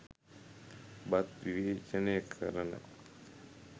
බත් විවේචනය කරන